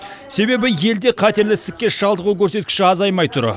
себебі елде қатерлі ісікке шалдығу көрсеткіші азаймай тұр